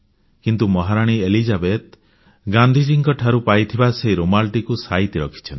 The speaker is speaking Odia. କିନ୍ତୁ ମହାରାଣୀ ଏଲିଜାବେଥ୍ ଗାନ୍ଧୀଙ୍କ ଠାରୁ ପାଇଥିବା ସେଇ ରୁମାଲଟିକୁ ସାଇତି ରଖିଛନ୍ତି